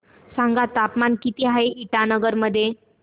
सांगा तापमान किती आहे इटानगर मध्ये